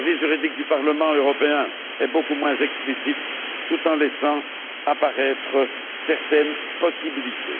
Le service juridique du Parlement européen est beaucoup moins explicite, tout en laissant apparaître certaines possibilités.